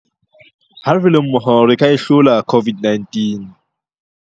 Ha re le mmoho re ka e hlola COVID-19.